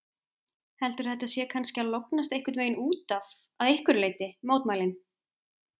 Heldurðu að þetta sé kannski að lognast einhvern veginn útaf að einhverju leyti, mótmælin?